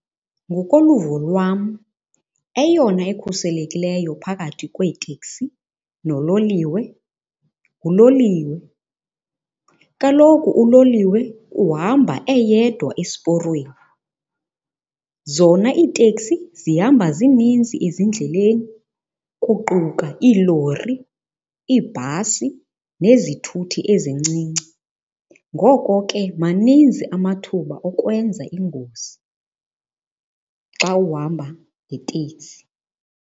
Ngokoluvo lwam eyona ekhuselekileyo phakathi kweeteksi nololiwe, nguloliwe. Kaloku uloliwe uhamba eyedwa esiporweni, zona iiteksi zihamba zininzi ezindleleni kuquka iilori, iibhasi nezithuthi ezincinci. Ngoko ke maninzi amathuba okwenza iingozi xa uhamba ngeteksi.